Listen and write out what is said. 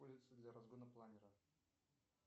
улица для разгона планера